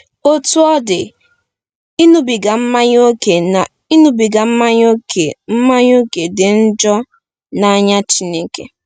Otú ọ dị, ịṅụbiga mmanya ókè na ịṅụbiga mmanya ókè mmanya ókè dị njọ n’anya Chineke.